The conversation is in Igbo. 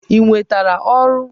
Ị nwetara ọrụ?